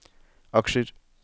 aksjer